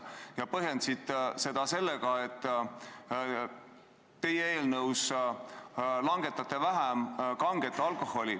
Sa põhjendasid seda sellega, et teie eelnõu näeb ette kange alkoholi aktsiisi vähem langetada.